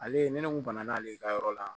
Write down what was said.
Ale ni ne kun banana ale ka yɔrɔ la